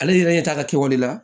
Ale yɛrɛ ɲɛ t'a la kɛwale la